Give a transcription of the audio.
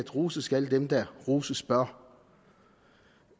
roses skal dem der roses bør